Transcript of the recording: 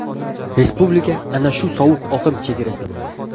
Respublika ana shu sovuq oqim chegarasida bo‘ladi.